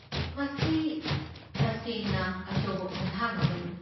ꯃꯁꯤ ꯇꯁꯩꯅ ꯑꯆꯧꯕ ꯈꯣꯡꯊꯥꯡ ꯑꯃꯅꯤ!